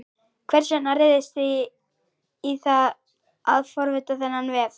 Hvers vegna réðust þið í það að forrita þennan vef?